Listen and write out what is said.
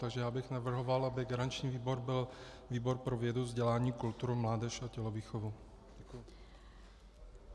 Takže já bych navrhoval, aby garanční výbor byl výbor pro vědu, vzdělání, kulturu, mládež a tělovýchovu.